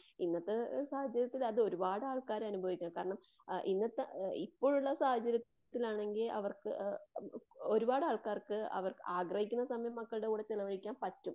ഇന്നത്തെ സാഹചര്യത്തില് അതൊരുപാട് ആൾക്കാര് അനുഭവിക്കുന്നതാണ്. കാരണം ആ ഇന്നത്തെ ഇപ്പോഴുള്ള സാഹചര്യത്തിലാണെങ്കിൽ അവർക്ക് ഒരുപാട് ആൾക്കാർക്ക്അവർ ആഗ്രഹിക്കുന്ന സമയം മക്കളുടെ കൂടെ ചിലവഴിക്കാൻ പാറ്റും.